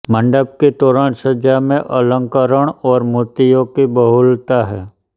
मंडप की तोरण सज्जा में अलंकरण और मूर्तियों की बहुलता है